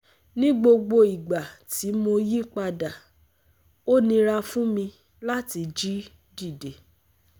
Ni gbogbo igba ti mo yipada o nira fun mi lati jí dide